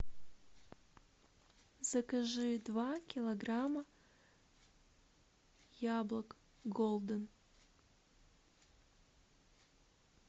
закажи два килограмма яблок голден